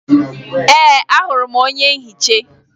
Ee, ahụrụ m onye nhicha